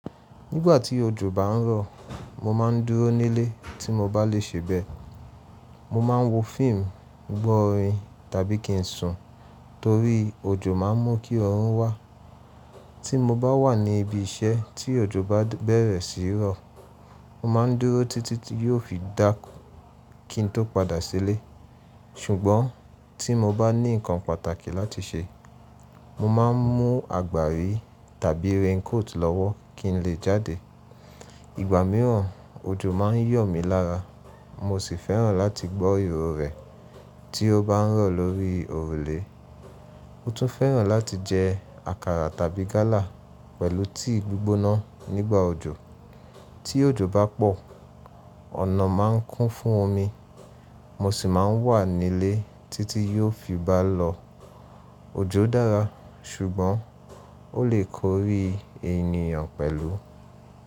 Nígbà tí òjò bá ń rọ̀, mo má a ń dúró nílé tí mo bá lè ṣe bẹ́ẹ̀. Mo ma ń wo fíìmù, gbọ́ orin tàbí kí n sùn, torí òjò má ń mú kí ọrùn wà. Tí mo bá wà ní ibi iṣẹ́ tí òjò bá bẹ̀rẹ̀ sí í rọ̀, mo má ń dúró títí yóò fi dá kí n tó padà sílé. Ṣùgbọ́n tí mo bá ní nǹkan pàtàkì láti ṣe, mo má a ń mú àgbàrí tàbí raincoat lọ́wọ́ kí n lè jáde. Ìgbà mìíràn, òjò má ń yọ̀ mí lára, mo sì fẹ́ràn láti gbọ́ ìró rẹ̀ tí ó bá ń rọ̀ lórí òrùlé. Mo tún fẹ́ràn láti jẹ àkàrà tàbí gálà pẹ̀lú tíì gbígbóná nígbà òjò. Tí òjò bá pọ̀, ọ̀nà má ń kún fún omi, mo sì má ń wà nílé títí yóò fi bá lọ. Òjò dára súgbón ó lè korí ènìyàn pẹ̀lú.